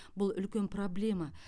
бұл үлкен проблема